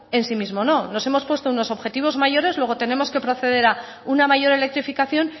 en sí mismo no nos hemos puesto unos objetivos mayores luego tenemos que proceder a una mayor electrificación